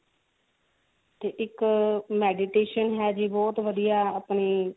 ਤੇ ਇੱਕ meditation ਹੈਗੀ ਬਹੁਤ ਵਧੀਆ ਆਪਣੀ